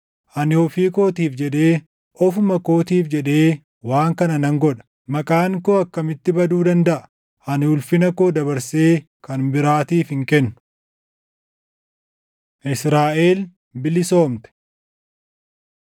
Ani ofii kootiif jedhee, ofuma kootiif jedhee waan kana nan godha. Maqaan koo akkamitti baduu dandaʼa? Ani ulfina koo dabarsee kan biraatiif hin kennu. Israaʼel Bilisoomte